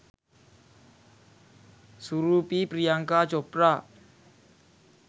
සුරූපී Priyanka Chopra.